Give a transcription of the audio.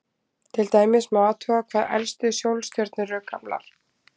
Til dæmis má athuga hvað elstu sólstjörnur eru gamlar.